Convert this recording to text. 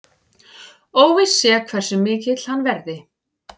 Óvíst sé hversu mikill hann verði